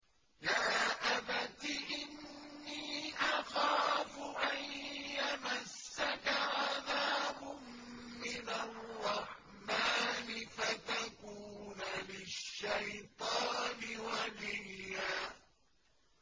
يَا أَبَتِ إِنِّي أَخَافُ أَن يَمَسَّكَ عَذَابٌ مِّنَ الرَّحْمَٰنِ فَتَكُونَ لِلشَّيْطَانِ وَلِيًّا